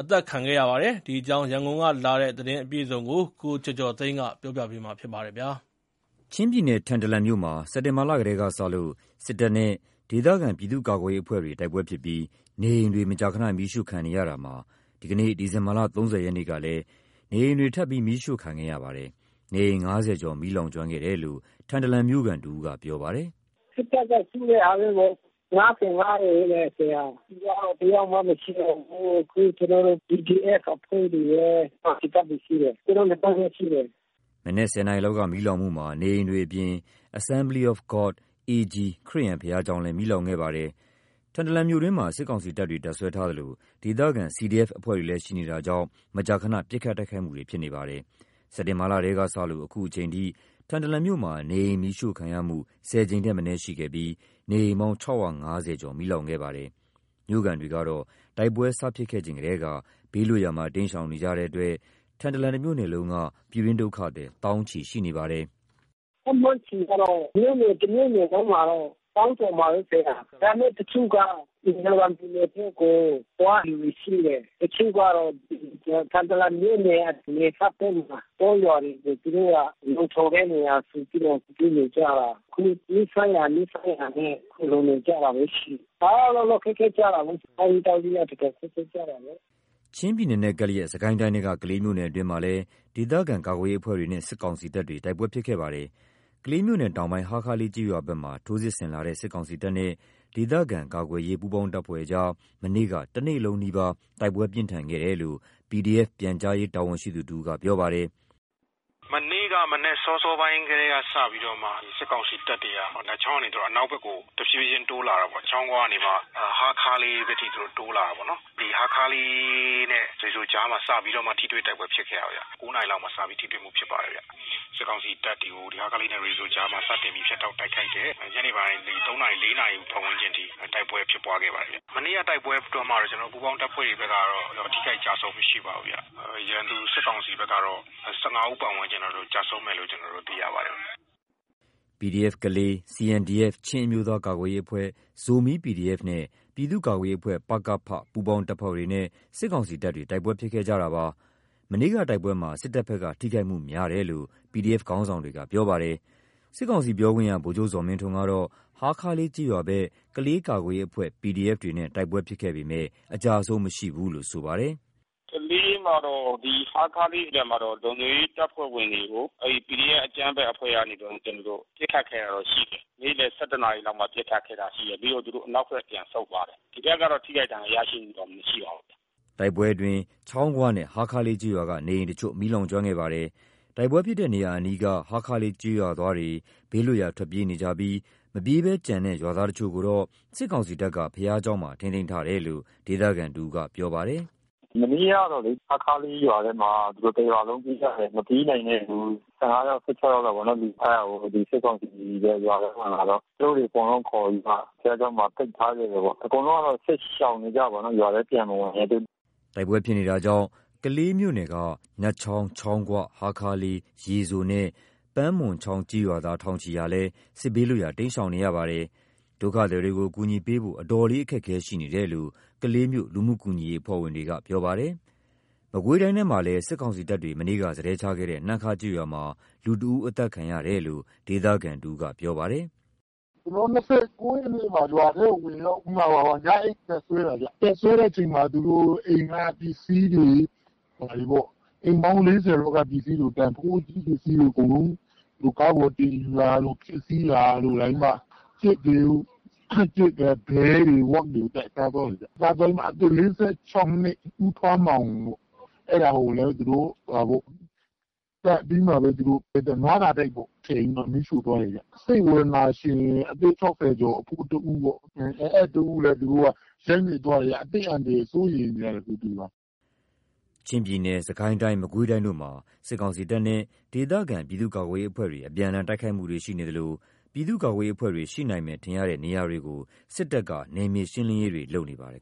အသတ်ခံခဲ့ရပါတယ်။ ဒီအကြောင်းရန်ကုန်ကလာတဲ့သတင်းကို ကိုကျော်ကျော်သိန်းက တင်ပြပေးထားပါတယ်။ ချင်းပြည်နယ်၊ ထန်တလန်မြို့မှာ စက်တင်ဘာလထဲကစလို့ စစ်တပ်နဲ့ ဒေသခံပြည်သူ့ကာကွယ်ရေးအဖွဲ့တွေ တိုက်ပွဲဖြစ်ပြီး နေအိမ်တွေ မကြာခဏ မီးရှို့ခံနေရတာမှာ ဒီနေ့ ဒီဇင်ဘာလ ၃၀ ရက် ကလည်း ထပ်ပြီး နေအိမ်တွေမီးရှို့ခံခဲ့ရပါတယ်။ နေအိမ် ၅၀ ကျော် မီးလောင်ကျွမ်းခဲ့တယ်လို့ ထန်တလန်မြို့ခံတဦးကပြောပါတယ်။ “စစ်တပ်ကရှို့တဲ့ဟာပေါ့။ ၅၅ အိမ်တဲ့။ တယောက်မှမရှိတော့ဘူး။ အခု CDF အဖွဲ့ တွေရယ်။ ကောင်စီတပ်တွေရှိတယ်။ သူတို့ နှစ်တပ်ပဲရှိတယ်။” မနက် ၁၀ နာရီလောက်က မီးလောင်မှုမှာ နေအိမ်တွေအပြင် Assembly of God (AG) ခရစ်ယာန် ဘုရားကျောင်းလည်း မီးလောင်ခဲ့ပါတယ်။ ထန်တလန်မြို့တွင်းမှာ စစ်ကောင်စီတပ်တွေ တပ်စွဲထားသလို ဒေသခံ CDF အဖွဲ့တွေလည်း ရှိနေတာကြောင့် မကြာခဏ ပစ်ခတ်တိုက်ခိုက်မှုတွေ ဖြစ်နေပါတယ်။ စက်တင်ဘာလထဲကစလို့ အခုအချိန်အထိ ထန်တလန်မြို့မှာ နေအိမ်တွေ မီးရှို့ ခံရမှု ၁၀ ကြိမ်ထက်မနည်းရှိနေပြီး နေအိမ်ပေါင်း ၆၅၀ ကျော် မီးလောင်ခဲ့ပါတယ်။ မြို့ခံတွေကတော့ တိုက်ပွဲတွေ စဖြစ်ခဲ့ချိန်ထဲက ဘေးလွတ်ရာမှာ တိမ်းရှောင်နေကြတဲ့အတွက် ထန်တလန်တမြို့နယ်လုံးက ပြည်တွင်းဒုက္ခသည် သောင်းချီ ရှိနေပါတယ်။ “ခန့်မှန်းခြေကတော့ မြို့နယ်တမြို့နယ်လုံးမှာတော့ သောင်းကျော်မှာပဲပြောတာ။ ဒါပေမဲ့တချို့က မီဇီုရမ်ပြည်နယ်ထဲကို သွားနေသူတွေရှိတယ်။ တချို့ကတော့ ထန်တလန်မြို့နယ် နယ်စပ်ဘက် မှာ တောရွာတွေမှ ာသူတို့က လုံခြုံတဲ့နေရာဆိုပြီးတော့ ပြေးနေကြတာ။ အခု နီးစပ်ရာနီးစပ်ရာနဲ့ ဒီလိုနေကြတာလည်း ရှိတယ်။ အားလုံးတော့ခက်ခဲကြတာပေါ့။ စားရေးသောက်ရေးလည်း ခက်ခဲတယ်။” ချင်းပြည်နယ်နဲ့ ကပ်လျက် စစ်ကိုင်းတိုင်းထဲက ကလေးမြို့နယ်အတွင်းမှာလည်း ဒေသခံကာကွယ်ရေးအဖွဲ့တွေနဲ့ စစ်ကောင်စီတပ်တွေ တိုက်ပွဲဖြစ်ခဲ့ပါတယ်။ ကလေးမြို့နယ်တောင်ပိုင်း ဟားခါးလေးကျေးရွာဘက်မှာ ထိုးစစ်ဆင်လာတဲ့စစ်ကောင်စီတပ်နဲ့ ဒေသခံကာကွယ်ရေး ပူးပေါင်းတပ်ဖွဲ့အကြား မနေ့က တနေ့လုံးနီးပါး တိုက်ပွဲပြင်းထန်ခဲ့တယ်လို့ PDF ပြန်ကြားရေးတာဝန်ရှိသူတဦးကပြောပါတယ်။ “မနေ့ကမနက်စောစောပိုင်းက စပြီးတော့မှစစ်ကောင်စီတပ်တွေကနတ်ချောင်းကနေ အနောက်ဘက်ကို တရွေ့ရွေ့ တိုးလာတယ်ပေါ့။ ချောင်းခွကနေပြီးမှ ဟားခါးလေးဘက်ထိ သူတို့တိုးလာတာပေါ့နော်။ ဒီဟားခါးလေးနဲ့ ရေစိုကြားမှာ စပြီးမှ ထိတွေ့တိုက်ပွဲဖြစ်ခဲ့တာဗျ။ စစ်ကောင်စီတပ်တွေကို ဟားခါးလေးနဲ့ရေစိုကြားမှာ စတင်ပြီး ဖြတ်တောက် တိုက်ခိုက်ခဲ့တယ်။ ညနေပိုင်း ၃ နာရီ ၄ နာရီအထိ တိုက်ပွဲဖြစ်ပွါးခဲ့ပါတယ်။ မနေ့ကတိုက်ပွဲအတွင်းမှာတော့ ပူးပေါင်းတပ်ဖွဲ့တွေဘက်ကတော့ ထိခိုက်ကျဆုံးမှုမရှိပါဘူးဗျ။ ရန်သူစစ်ကောင်စီဘက်ကတော့ ၁၅ ဦးကျဆုံးမယ်လို့ ကျွန်တော်တို့သိရပါတယ်။” PDF (Kalay) ၊ CNDF ချင်းအမျိုးသားကာကွယ်ရေးအဖွဲ့၊ Zomi PDF နဲ့ ပြည်သူ့ကာကွယ်ရေးအဖွဲ့ ပ.က.ဖ ပူးပေါင်းတပ်ဖွဲ့တွေနဲ့ စစ်ကောင်စီတပ်တွေ တိုက်ပွဲဖြစ်ခဲ့ကြတာပါ။ မနေ့ကတိုက်ပွဲမှာ စစ်တပ်ဘက်ကထိခိုက်မှုများတယ်လို့ PDF ခေါင်းဆောင်တွေကပြောပါတယ်။ စစ်ကောင်စီပြောခွင့်ရ ဗိုလ်ချုပ်ဇော်မင်းထွန်းကတော့ ဟားခါးလေးကျေးရွာဘက် ကလေးကာကွယ်ရေးအဖွဲ့ PDF တွေနဲ့ တိုက်ပွဲဖြစ်ခဲ့ပေမယ့် အကျအဆုံး မရှိဘူးလို့ ဆိုပါတယ်။ “ကလေးမှာတော့ ဒီဟားခါးလေးဘက်မှာတော့ လုံခြုံရေးတပ်ဖွဲ့ဝင်တွေကို အဲဒီ PDF အကြမ်းဖက်အဖွဲ့ကနေပြီးတော့ ပစ်ခတ်ခဲ့တာတော့ရှိတယ်။ နေ့လယ် ၁၁ လောက်မှာပစ်ခတ်ခဲ့တာရှိတယ်။ ပြီးတော့ အနောက်ဘက် သူတို့ပြန်ဆုတ်သွားတယ်။ ဒီဘက်ကတော့ ထိခိုက်ဒဏ်ရာရတာတော့မရှိပါဘူး။” တိုက်ပွဲဖြစ်ပွါးမှုအတွင်း ချောင်းခွနဲ့ ဟားခါးလေးကျေးရွာက နေအိမ်တချို့ မီးလောင်ကျွမ်းခဲ့ပါတယ်။ တိုက်ပွဲဖြစ်ပွါးတဲ့နေရာအနီးက ဟားခါးလေးကျေးရွာသားတွေဟာ ဘေးလွတ်ရာ ထွက်ပြေးနေကြပြီး မပြေးဘဲကျန်တဲ့ရွာသားတချို့ကိုတော့ စစ်ကောင်စီတပ်က ဘုရားကျောင်းမှာ ထိန်းသိမ်းထားတယ်လို့ ဒေသခံတဦးက ပြောပါတယ်။ “မနေ့ကတော့လေ ဟားခါးလေးရွာထဲမှာ တရွာလုံးပြေးကြတယ်။ မပြေးနိုင်တဲ့သူ ၁၅ ယောက် ၁၆ ယောက်လောက်ပေါ့နော် အဲဒါကို စစ်ကောင်စီတွေ ရွာထဲမှာလာတော့ သူတို့တတွေအကုန်လုံးခေါ်ပြီးမှ ဘုရားကျောင်းမှာ ပိတ်ထားခဲ့တယ်ပေါ့။ အကုန်လုံးတော့ စစ်ရှောင်နေကြတာပေါ့။ ရွာထဲပြန်မဝင်ရဲသေးဘူး။” တိုက်ပွဲဖြစ်ပွါးနေမှုကြောင့် ကလေးမြို့နယ် နတ်ချောင်း၊ ချောင်းခွ၊ ဟားခါးလေး၊ ရေစိုနဲ့ ပန်းမွန်ချောင်း ကျေးရွာသား ထောင်ချီဟာလည်း စစ်ဘေးလွတ်ရာ တိမ်းရှောင်နေရပါတယ်။ ဒုက္ခသည်တွေကို အကူအညီပေးဖို့ အတော်လေး အခက်ခဲရှိနေတယ်လို့ ကလေးမြို့ လူမှုကူညီရေးအဖွဲ့ဝင်တွေက ပြောပါတယ်။ မကွေးတိုင်းထဲမှာလည်း စစ်ကောင်စီတပ်တွေ မနေ့က စတည်းချခဲ့တဲ့နှမ်းခါးကျေးရွာမှာ လူတဦး အသတ်ခံရတယ်လို့ ဒေသခံတဦးက ပြောပါတယ်။ “၂၉ရက်နေ့မှာ ရွာထဲကိုဝင်ရောက်ပြီးမှ ညအိပ်တပ်စွဲတာဗျ၊ တပ်စွဲတဲ့အချိန်မှာ အိမ်ပေါင်း ၄၀ လောက်က တန်ဖိုးကြီး ပစ္စည်းတွေ ဘာတွေပေါ့..အကုန်လုံး ကားပေါ်တင်ယူတာတို့၊ ဖျက်စီးတာတို့..နောက်ပြီးတော့ ကြက်တွေ၊ ဘဲတွေ၊ ဝက်တွေကို သတ်စားသွားတယ်ဗျ။ အသက် ၄၆ နှစ် ဦးပန်းမောင်ကိုလည်း သတ်ပြီးတော့မှ နွားစာတိုက်ထဲထည့်ပြီးတော့ မီးရှို့သွားတယ်ဗျ။ စိတ်ဝေဒနာရှင် အသက် ၆၀ ကျော် အဖိုးတဦး-အဲဒီတဦးလည်း သူတို့က ရိုက်နှက်သွားတယ်ဗျ။ အခု ဒီမှာ အသက်အန္တရာယ်စိုးရိမ်နေရတယ်ဗျ။” ချင်းပြည်နယ်၊ စစ်ကိုင်းတိုင်း၊ မကွေးတိုင်းတို့မှာ စစ်ကောင်စီတပ်နဲ့ ဒေသခံပြည်သူ့ကာကွယ်ရေးအဖွဲ့တွေ အပြန်အလှန် တိုက်ခိုက်မှုတွေ ရှိနေသလို ပြည်သူ့ကာကွယ်ရေးအဖွဲ့တွေ ရှိနိုင်မယ်ထင်ရတဲ့ နေရာတွေကို စစ်တပ်က နယ်မြေရှင်းလင်းရေးတွေ လုပ်နေပါတယ်